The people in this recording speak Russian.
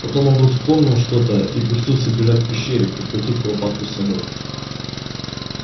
потом он вдруг вспомнил что то и пустился бежать к пещере прихватив куропатку с собой